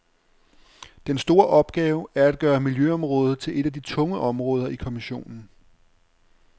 Den store opgave er at gøre miljøområdet til et af de tunge områder i kommissionen.